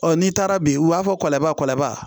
Ɔ n'i taara bi u b'a fɔ kɔlabala